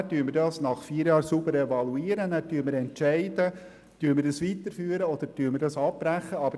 Nach der Evaluation in vier Jahren entscheiden wir, ob wir es weiterführen oder abbrechen wollen.